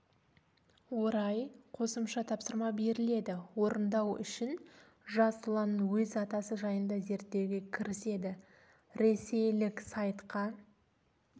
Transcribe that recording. орай қосымша тапсырма беріледі орындау үшін жас ұлан өз атасы жайында зерттеуге кіріседі ресейлік сайтқа